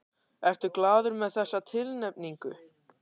Ertu glaður með þessa tilnefningu?